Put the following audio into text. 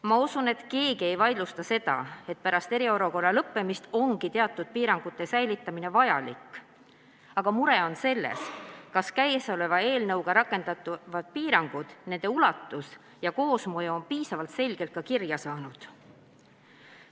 Ma usun, et keegi ei vaidlusta, et pärast eriolukorra lõppemist on teatud piirangute säilitamine vajalik, aga mure on selles, kas eelnõuga ette nähtavad piirangud, nende ulatus ja koosmõju on piisavalt selgelt ka kirja saanud.